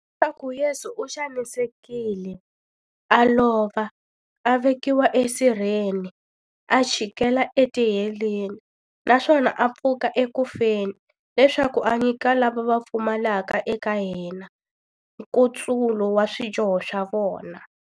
Leswaku Yesu u xanisekile, a lova, a vekiwa esirheni, a chikela etiheleni, naswona a pfuka eku feni, leswaku a nyika lava va pfumelaka eka yena, nkutsulo wa swidyoho swa vona.